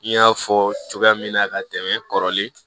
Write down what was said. N y'a fɔ cogoya min na ka tɛmɛ kɔrɔlen